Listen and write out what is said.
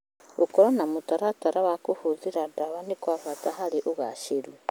Gũkorũo na mũtaratara wa kũhũthĩra ndawa nĩ kwa bata harĩ ũgaacĩru.